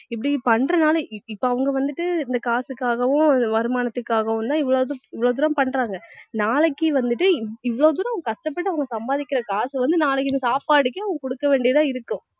இப்படி பண்றதுனால இப்~ இப்ப அவங்க வந்துட்டு இந்த காசுக்காகவும் வருமானத்துக்காகவும் தான் இவ்~ இவ்ளோ தூரம் பண்றாங்க நாளைக்கு வந்துட்டு இவ்~ இவ்வளவு தூரம் கஷ்டப்பட்டு அவங்க சம்பாதிக்கிற காசு வந்து நாளைக்கு இது சாப்பாடுக்கும் குடுக்க வேண்டியதா இருக்கும்